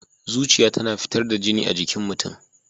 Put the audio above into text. Zuciya tana fitar da jini a jikin mutum.